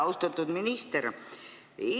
Austatud minister!